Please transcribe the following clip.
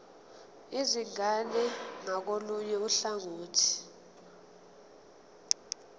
izingane ngakolunye uhlangothi